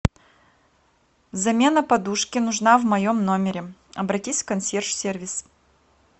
замена подушки нужна в моем номере обратись в консьерж сервис